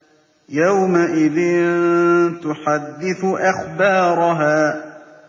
يَوْمَئِذٍ تُحَدِّثُ أَخْبَارَهَا